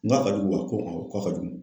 N k'a ka jugu wa ko awɔ k'a ka jugu.